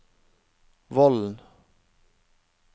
Vollen